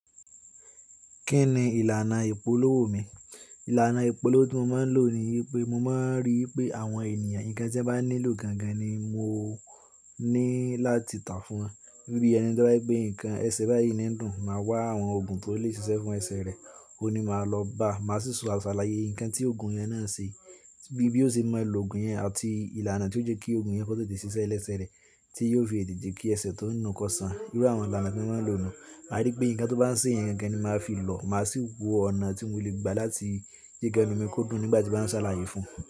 Kí ni ìlànà ìpolówó mi? Ìlànà ìpolówó tí mo mo ń lò ni wípé mo mo ń ríi pé àwọn ènìyàn nǹkan tí wọ́n bá nílò gangan ni mo ní láti tà fún wọn. Bí ẹni to ba je pé nǹkan ẹsẹ̀ báyìí ní ń dùn, màá wá àwọn òògùn tó lè ṣiṣẹ́ fún ẹsẹ̀ rẹ̀, òun ni màá lọ bá. Màá sì sọ àsàlàyé ǹkan tí òògùn yẹn náà ṣe bí ó ṣe mo lò òògùn yẹn àti ìlànà tí ó jẹ́ kí òògùn yẹn kó tètè ṣiṣẹ́ lẹsẹ̀ rẹ̀ tí yóò fi ètè kí ẹsẹ̀ tó ń nu kọ sàn. Irú àwọn ìlànà tí mo mo ń lò nù. Màá rí pé nǹkan tó bá ń ṣe yẹn gangan ni màá fi lò, màá sì wo ọ̀nà tí mo lè gbà láti je kẹnu mi kó dùn nígbà tí màá ń sàlàyé fún un.